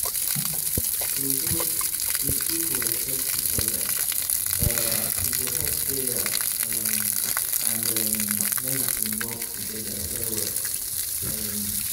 true true if people respect each oda um e go help prayer um and errm medicine work togeda well well um.